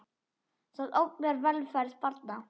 Það ógnar velferð barna.